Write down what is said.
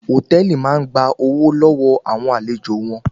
Hòtẹ́ẹ̀lì máa ń gba owó lọ́wọ́ àwọn àlejò wọn